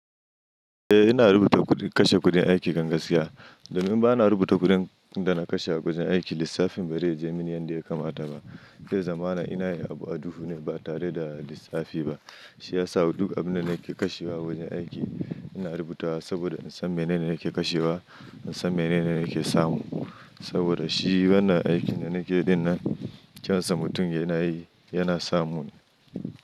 Eh ina rubuta kuɗi, kashe kuɗin aiki kan gaskiya. Domin bana rubuta kuɗin da na kashe a wajen aiki, lissafin bare je mini yadda ya kamata ba. Da zamana ina yin abu a duhu ne ba tare da lissafi ba. Shi ya sa duk abin da nake kashewa wajen aiki ina rubuta saboda in san menene nake kashewa, in san menene nake samu. Saboda shi wannan aikin da nake dinnan kyansa mutum yana yi, yana samu ne.